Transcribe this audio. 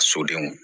Sodenw